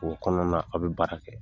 O kɔnɔna a bɛ baara kɛ